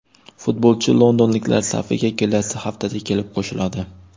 Futbolchi londonliklar safiga kelasi haftada kelib qo‘shiladi.